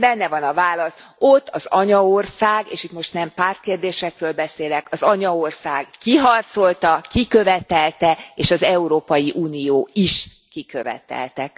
Benne van a válasz ott az anyaország és itt most nem pártkérdésekről beszélek az anyaország kiharcolta, kikövetelte és az Európai Unió is kikövetelte.